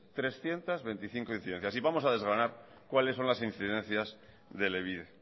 trescientos veinticinco incidencias y vamos a desgranar cuáles son las incidencias de elebide